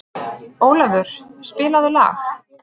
Ólafur, spilaðu lag.